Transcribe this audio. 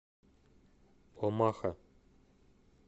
омаха